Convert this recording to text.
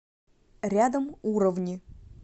рядом уровни